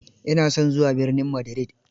Ina son zuwa birnin Madrid.